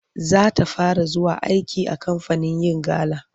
Za ta fara zuwa aiki a kamfanin yin gala.